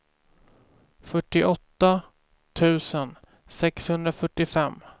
fyrtioåtta tusen sexhundrafyrtiofem